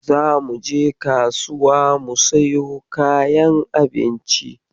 Zamu je kasuwa mu siyo kayan abinci